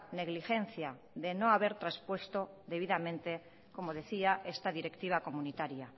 negligencia de no haber traspuesto debidamente como decía esta directiva comunitaria